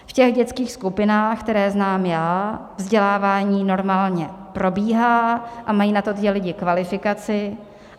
V těch dětských skupinách, které znám já, vzdělávání normálně probíhá a mají na to ti lidé kvalifikaci.